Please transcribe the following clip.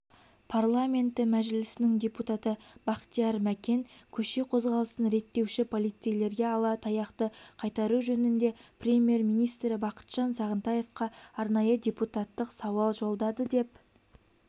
парламенті мәжілісінің депутаты бақтияр мәкен көше қозғалысын реттеуші полицейлерге ала таяқты қайтару жөнінде премьер-министрі бақытжан сағынтаевқа арнайы депутаттық сауал жолдады деп